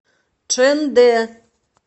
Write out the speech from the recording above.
чэндэ